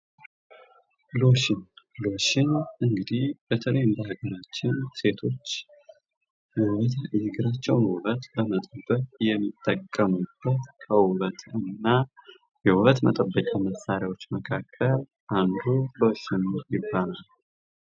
ሎሽን እንግዲህ በተለይም በሀገራችን የእግራቸውን ውበት ለመጠበቅ የሚጠቀሙበት ከውበትና የውበት መጠበቂያ መሳሪያዎች መካከል አንዱ ነው ።